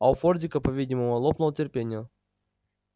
а у фордика по-видимому лопнуло терпение